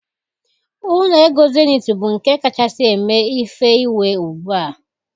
Ụlọ égo Zenith bú nké kachasị èmé ìfè ìwé ùgbúà